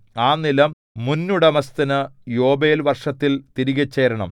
ആ നിലം മുന്നുടമസ്ഥനു യോബേൽ വർഷത്തിൽ തിരികെ ചേരേണം